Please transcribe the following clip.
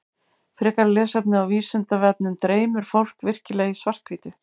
Frekara lesefni á Vísindavefnum Dreymir fólk virkilega í svart-hvítu?